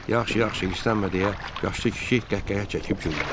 Yaxşı, yaxşı, istənmə, deyə yaşlı kişi qəhqəhə çəkib güldü.